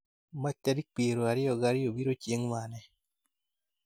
Mach tarik piero ariyo ga ariyo biro chieng' mane